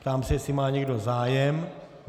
Ptám se, jestli má někdo zájem.